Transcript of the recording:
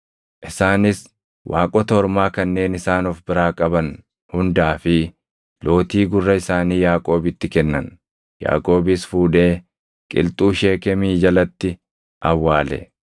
Isaanis waaqota ormaa kanneen isaan of biraa qaban hundaa fi lootii gurra isaanii Yaaqoobitti kennan; Yaaqoobis fuudhee qilxuu Sheekemii jalatti awwaale.